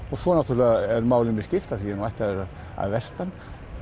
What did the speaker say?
og svo náttúrulega ef málum er skylt af því ég er nú ættaður að vestan